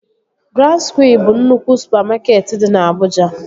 Grand skwịe bụ nnukwu supamakeetị dị na Abụja